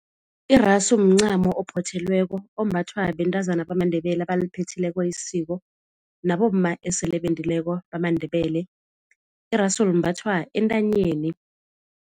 Iraso mncamo ophothelweko ombathwa bentazana bamaNdebele abaliphethileko isiko, nabomma esele bendileko bamaNdebele. Iraso limbathwa entanyeni.